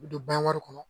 U bɛ don bari kɔnɔ